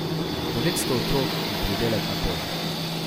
Devetsto otrok in pridelek na polju.